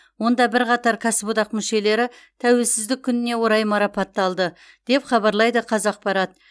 онда бірқатар кәсіподақ мүшелері тәуелсіздік күніне орай марапатталды деп хабарлайды қазақпарат